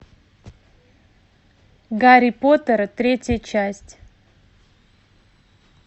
гарри поттер третья часть